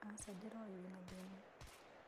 Aca ndĩroĩ wĩna thĩna.